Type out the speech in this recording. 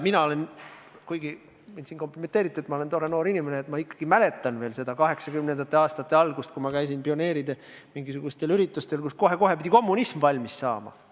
Mina – kuigi mulle tehti siin kompliment, et ma olen tore noor inimene – ikkagi mäletan veel 1980. aastate algust, kui käisin mingisugustel pioneeride üritustel, kus kohe-kohe pidi kommunism valmis saama.